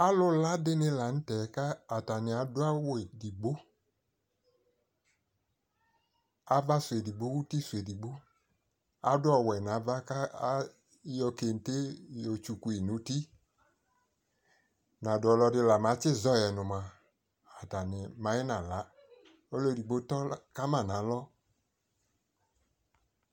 alo la dini lantɛ ko atani ado awu edigbo ava so edigbo, uti so edigbo, ado ɔwɛ no ava ko ayɔ kente yɔ otsukui no uti ka do ɔlɔdi la ba tsi zɔyɛ no moa atani mayi na la ɔlo edigbo tɔ ka ma no alɔ